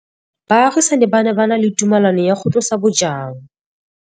Baagisani ba ne ba na le tumalanô ya go tlosa bojang.